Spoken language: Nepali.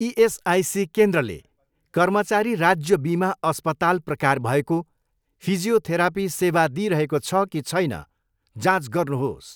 इएसआइसी केन्द्रले कर्मचारी राज्य बिमा अस्पताल प्रकार भएको फिजियोथेरापी सेवा दिइरहेको छ कि छैन जाँच गर्नुहोस्।